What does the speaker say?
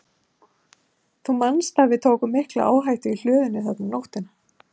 Þú manst að við tókum mikla áhættu í hlöðunni þarna um nóttina?